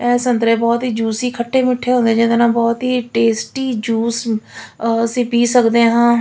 ਇਹ ਸੰਤਰੇ ਬਹੁਤ ਹੀ ਜੂਸੀ ਖੱਟੇ ਮਿੱਠੇ ਹੁੰਦੇ ਜਿਹਦੇ ਨਾਲ ਬਹੁਤ ਹੀ ਟੇਸਟੀ ਜੂਸ ਅਸੀਂ ਪੀ ਸਕਦੇ ਹਾਂਂ।